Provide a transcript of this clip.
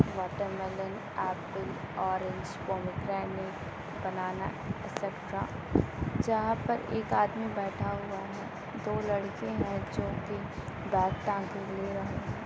Watermelon apple orange pomegranate banana extra जहां पर एक आदमी बैठा हुआ है दो लड़के जो है बैग टांग के लिए हुए है।